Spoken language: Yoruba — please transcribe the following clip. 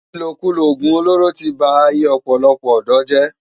Ilókúló ógún ólóró ti bá áiyé òpòlòpò òdò jè